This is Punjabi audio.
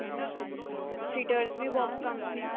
cheaters ਵੀ ਬਹੁਤ ਪਸੰਦ ਨੇ